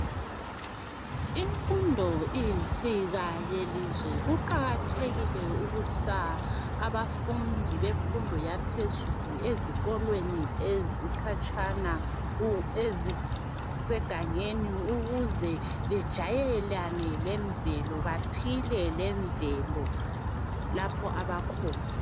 Imfundo iyinsika yelizwe kuqakathekile ukuthi abafundi bemfundo yaphezulu ezikolweni ezikhatshana ezisegangeni ukuze bejayelane lemvelo baphile lemvelo lapho abakhona.